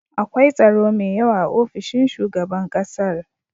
akwai tsaro me yawa a ofishin shugaban ƙasar